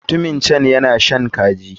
Mutumin can yana shan kaji.